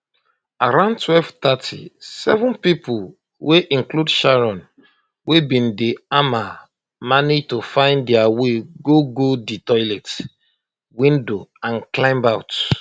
um around1230 seven pipo wey include sharon wey bin dey hamal manage to find dia way go go di toilet um window and climb out